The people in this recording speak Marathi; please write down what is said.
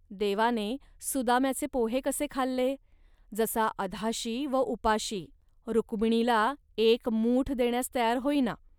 देवाने सुदाम्याचे पोहे कसे खाल्ले, जसा अधाशी व उपाशी. रुक्मिणीला एक मूठ देण्यास तयार होईना